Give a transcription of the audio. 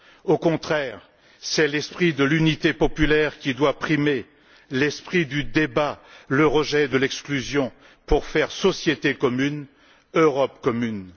Au contraire, c'est l'esprit de l'unité populaire qui doit primer, l'esprit du débat, le rejet de l'exclusion pour faire société commune, Europe commune.